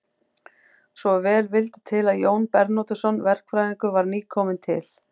Svo vel vildi til að Jón Bernódusson verkfræðingur var nýkominn til